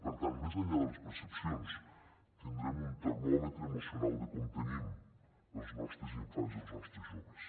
per tant més enllà de les percepcions tindrem un termòmetre emocional de com tenim els nostres infants i els nostres joves